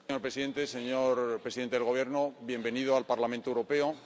Señor presidente, señor presidente del Gobierno español, bienvenido al Parlamento Europeo.